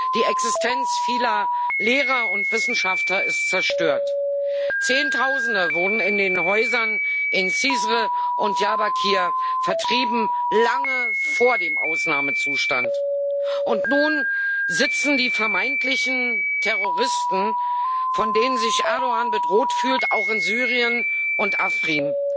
Die Existenz vieler Lehrer und Wissenschaftler ist zerstört, Zehntausende wohnen in den Häusern in Cizre und Diyarbakır vertrieben lange vor dem Ausnahmezustand. Und nun sitzen die vermeintlichen Terroristen, von denen sich Erdoğan bedroht fühlt, auch in Syrien und Afrin.